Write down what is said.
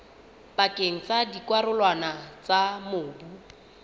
pakeng tsa dikarolwana tsa mobu